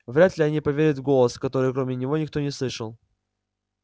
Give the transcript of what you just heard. вряд-ли они поверят в голос который кроме него никто не слышал